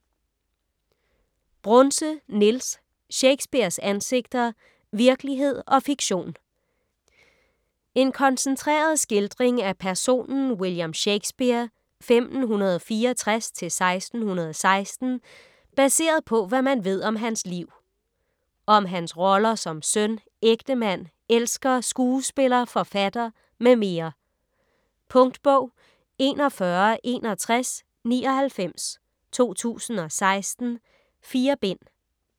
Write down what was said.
Brunse, Niels: Shakespeares ansigter: virkelighed og fiktion En koncentreret skildring af personen William Shakespeare (1564-1616) baseret på, hvad man ved om hans liv. Om hans roller som søn, ægtemand, elsker, skuespiller, forfatter mm. Punktbog 416199 2016. 4 bind.